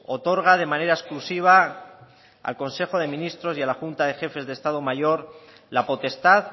otorga de manera exclusiva al consejo de ministros y a la junta de jefes de estado mayor la potestad